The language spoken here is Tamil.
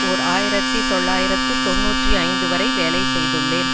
ஓர் ஆயிரத்தி தொள்ளாயிரத்து தொன்னூற்றி ஐந்து வரை வேலை செய்துள்ளேன்